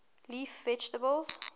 leaf vegetables